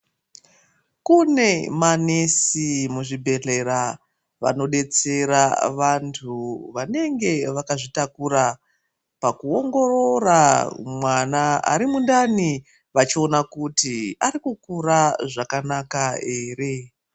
Kune manesi muzvibhedhlera vanodetsera vantu vanenge vakazvitakura pakuongorora mwana ari mundani vachiona kuti arikukura zvakanaka here.